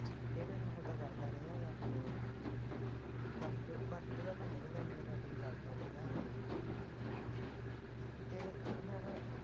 ਇਹ ਤਾ ਮੈਨੂੰ ਉਹ ਕਰਦਾ ਨਹੀਂ ਹੈਗਾ ਵਰਤਦਾ ਤਾ ਹੈਨੀ ਗਾ ਮੇਰੇ ਨਾਲ ਕੁਝ ਕਰਦਾ ਨੀ ਹੈਗਾ ਹੈਨਾ ਤੇ ਯਾਰ